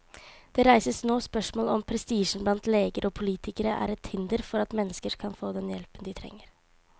Det reises nå spørsmål om prestisjen blant leger og politikere er et hinder for at mennesker kan få den hjelpen de trenger.